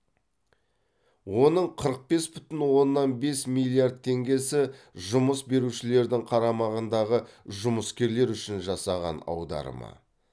оның қырық бес бүтін оннан бес миллиард теңгесі жұмыс берушілердің қарамағындағы жұмыскерлер үшін жасаған аударымы